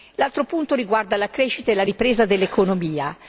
L'altro punto riguarda la crescita e la ripresa dell'economia.